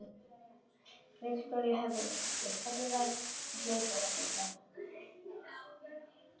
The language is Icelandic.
Viktoría Hermannsdóttir: Hvernig var að hlaupa hérna í dag?